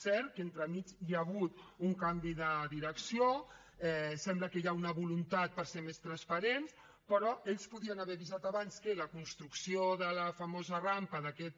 cert que entremig hi ha hagut un canvi de direcció sembla que hi ha una voluntat per ser més transparents però ells podien haver avisat abans que la construcció de la famosa rampa d’aquest